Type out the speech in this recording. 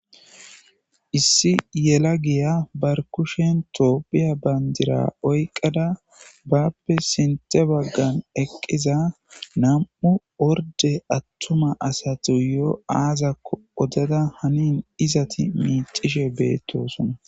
Issi yelagiya barkushen toopphiya bayndira oyqqada bappe sintHe baggan eqqiza nam7u orde attuma asatuyo aazakko odada hanin izati miicishe beettosona.